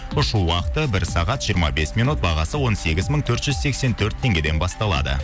ұшу уақыты бір сағат жиырма бес минут бағасы он сегіз мың төрт жүз сексен төрт теңгеден басталады